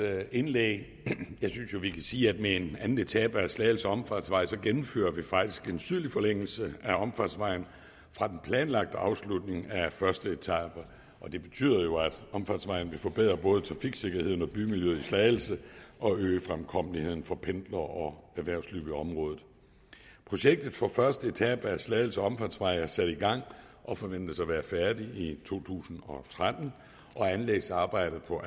indlæg jeg synes jo vi kan sige at med en anden etape af slagelse omfartsvej gennemfører vi faktisk en sydlig forlængelse af omfartsvejen fra den planlagte afslutning af første etape og det betyder jo at omfartsvejen vil forbedre både trafiksikkerheden og bymiljøet i slagelse og øge fremkommeligheden for pendlere og erhvervsliv i området projektet for første etape af slagelse omfartsvej er sat i gang og forventes at være færdigt i to tusind og tretten og anlægsarbejdet på